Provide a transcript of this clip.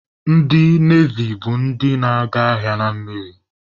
Ndị Nevi bụ ndị na-aga agha mmiri